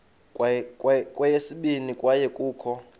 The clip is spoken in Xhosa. kweyesibini kwaye kukho